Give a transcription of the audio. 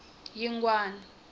yingwani